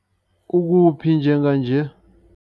Ukuphi njenganje?